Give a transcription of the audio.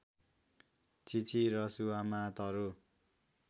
चिची रसुवामा तरु